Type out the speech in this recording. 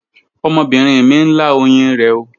Ọmọbinrin mi n la oyin rẹ ooo